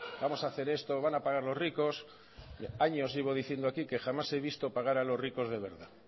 vamos a hacer esto van a pagar los ricos años llevo diciendo aquí que jamás he visto pagar a los ricos de verdad